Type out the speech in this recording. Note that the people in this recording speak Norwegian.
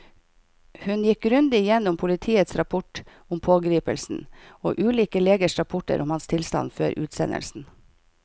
Hun gikk grundig gjennom politiets rapport om pågripelsen og ulike legers rapporter om hans tilstand før utsendelsen.